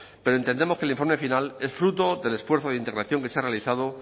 pero entendemos que el informe final es fruto del esfuerzo de integración que se ha realizado